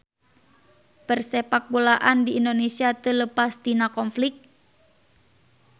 Persepakbolaan di Indonesia teu leupas tina konflik